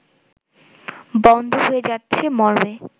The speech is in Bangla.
বন্ধ হয়ে যাচ্ছে মর্মে